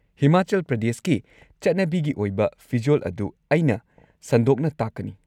ꯍꯤꯃꯥꯆꯜ ꯄ꯭ꯔꯗꯦꯁꯀꯤ ꯆꯠꯅꯕꯤꯒꯤ ꯑꯣꯏꯕ ꯐꯤꯖꯣꯜ ꯑꯗꯨ ꯑꯩꯅ ꯁꯟꯗꯣꯛꯅ ꯇꯥꯛꯀꯅꯤ꯫